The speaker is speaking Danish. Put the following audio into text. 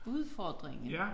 Udfordringen